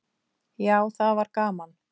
Já, það var gaman!